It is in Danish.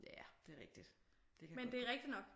Ja det er rigtigt. Det kan godt gå